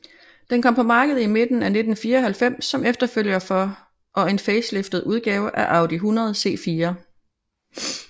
Den kom på markedet i midten af 1994 som efterfølger for og en faceliftet udgave af Audi 100 C4